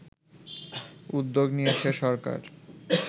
উদ্যোগ নিয়েছে সরকার